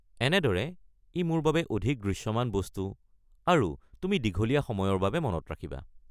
এনেদৰে ই মোৰ বাবে অধিক দৃশ্যমান বস্তু, আৰু তুমি দীঘলীয়া সময়ৰ বাবে মনত ৰাখিবা।